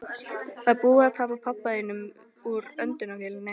Það er búið að taka pabba þinn úr öndunarvélinni.